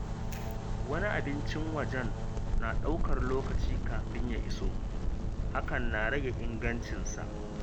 Wani abincin wajen na ɗaukar lokaci kafin ya iso, hakan na rage ingancinsa